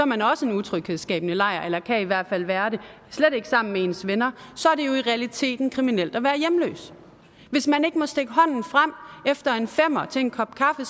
man også en utryghedsskabende lejr eller kan i hvert fald være det og slet ikke sammen med ens venner så er det jo i realiteten kriminelt at være hjemløs hvis man ikke må stikke hånden frem efter en femmer til en kop kaffe